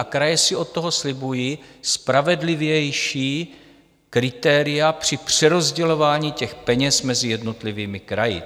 A kraje si od toho slibují spravedlivější kritéria při přerozdělování těch peněz mezi jednotlivými kraji.